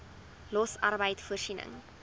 los arbeid voorsiening